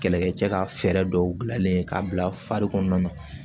Kɛlɛkɛcɛ ka fɛɛrɛ dɔw bilalen k'a bila fari kɔnɔna na